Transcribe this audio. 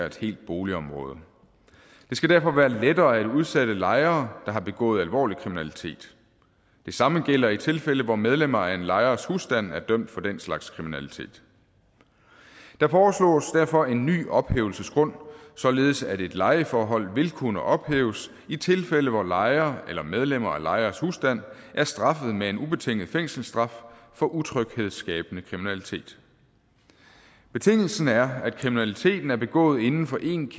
et helt boligområde det skal derfor være lettere at udsætte lejere der har begået alvorlig kriminalitet det samme gælder i tilfælde hvor medlemmer af en lejers husstand er dømt for den slags kriminalitet der foreslås derfor en ny ophævelsesgrund således at et lejeforhold vil kunne ophæves i tilfælde hvor lejere eller medlemmer af lejers husstand er straffet med en ubetinget fængselsstraf for utryghedsskabende kriminalitet betingelsen er at kriminaliteten er begået inden for en